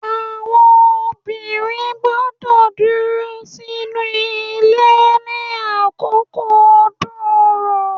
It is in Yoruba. Àwon Obìnrin gbọ́dọ̀ dúró sínú Ilé ní àkókó ọdún orò